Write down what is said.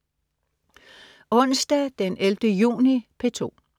Onsdag den 11. juni - P2: